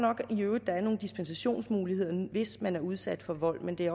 i øvrigt at der er nogle dispensationsmuligheder hvis man er udsat for vold men det